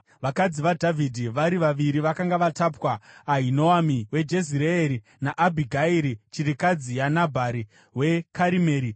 Vakadzi vaDhavhidhi vari vaviri vakanga vatapwa, Ahinoami weJezireeri naAbhigairi, chirikadzi yaNabhari weKarimeri.